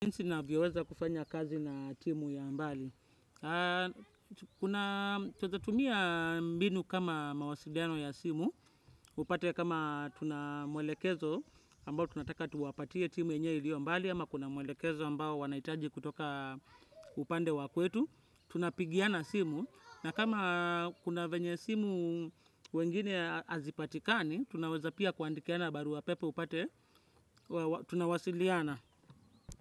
Jinsi navyoweza kufanya kazi na timu ya mbali. Twazitumia mbinu kama mawasiliano ya simu. Upate kama tunamwelekezo ambao tunataka tuwapatie timu yenye ilio mbali. Ama kuna mwelekezo ambao wanahitaji kutoka upande wa kwetu. Tunapigiana simu. Na kama kuna venye simu wengine hazipatikani, tunawaza pia kuandikiana barua pepe upate tunawasiliana.